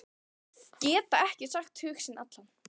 Geta ekki sagt hug sinn allan.